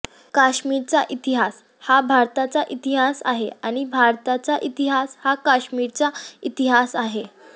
काश्मीरचा इतिहास हा भारताचा इतिहास आहे आणि भारताचा इतिहास हा काश्मीरचा इतिहास आहे